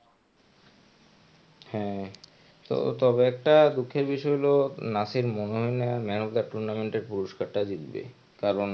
হ্যাঁ তো তবে একটা দুঃখের বিষয় হলো নাসির মনে হয় না মেনকা tournament এর পুরস্কার টা জিতবে কারণ